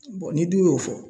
ni dun y'o fɔ